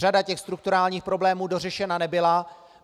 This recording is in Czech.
Řada těch strukturálních problémů dořešena nebyla.